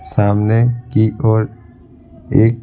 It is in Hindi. सामने की और एक--